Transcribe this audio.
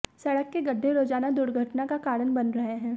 सडक़ के गड्ढे रोजाना दुर्घटना का कारण बन रहे है